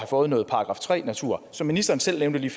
fået noget § tre natur som ministeren selv nævnte lige